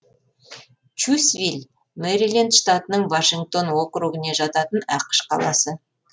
чьюсвилл мэриленд штатының вашингтон округіне жататын ақш қаласы